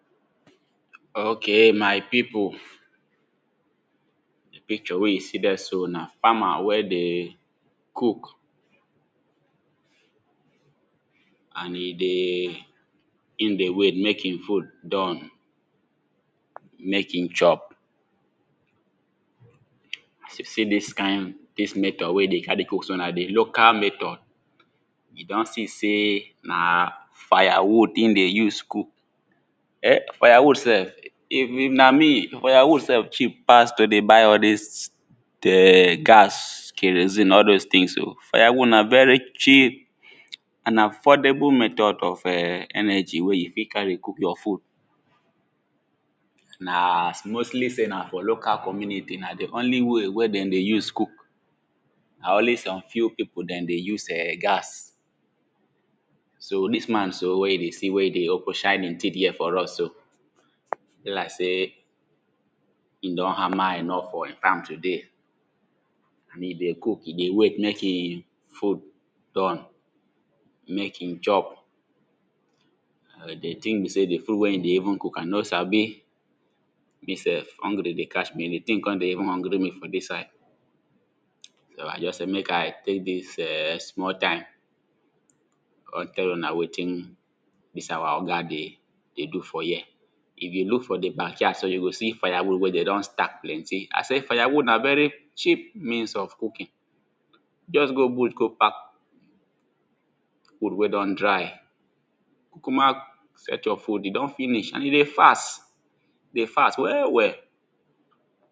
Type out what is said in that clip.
ok my people picture wey you see dem so na famer wey dey cook and e dey wait make the food done make e chop see this kain, dis method wey dey carry cook so na the local method you don see say na na firewood e dey use cook[um]firewood sef if na me firewood cheap sef to dey buy all this the gas kerosine all those things o firewood na very cheap and affordable method of[um]energy wey you fit carry cook your food na mostly say na for the local community na only way, wey den dey use cook na only some few people dem dey use[um]gas so this man so wey you dey see wey dey open dey shine hin teeth here for us so be like sey hin don hammer enough for hin farm today e dey cook, e dey wait make e full done make e chop but the thing be sey the food wey e dey even cook i no sabi me sef hungry dey catch me the thing con dey even hungry me on this side so i just sey make i take dis[um]small time con tell una wetin be sey our oga dey dey do for here if you look for the backyard sef you go see firewood wey them don stack plenty i say firewood na very cheap means of cooking just go bush go pack food wey don dry kukuma search your food e don finish and you dey fast dey fast well well